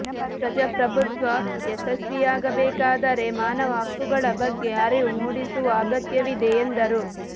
ಪ್ರಜಾಪ್ರಭುತ್ವ ಯಶಸ್ವಿಯಾಗಬೇಕಾದರೆ ಮಾನವ ಹಕ್ಕುಗಳ ಬಗ್ಗೆ ಅರಿವು ಮೂಡಿಸುವ ಅಗತ್ಯವಿದೆ ಎಂದರು